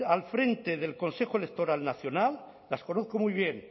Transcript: al frente del consejo electoral nacional las conozco muy bien